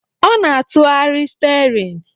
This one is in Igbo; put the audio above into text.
o na-atụgharị steerin